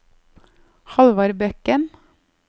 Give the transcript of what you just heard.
Halvard Bekken